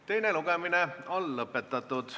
Teine lugemine on lõpetatud.